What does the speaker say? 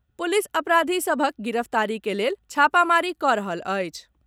Police अपराधी सभक गिरफ्तारी के लेल छापामारी कऽ रहल अछि।